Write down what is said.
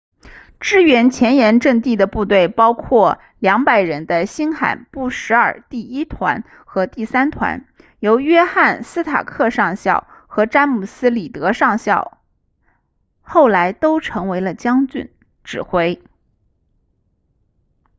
支援前沿阵地的部队包括200人的新罕布什尔第1团和第3团由约翰斯塔克上校和詹姆斯里德上校后来都成为了将军指挥